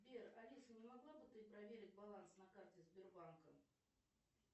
сбер алиса не могла бы ты проверить баланс на карте сбербанка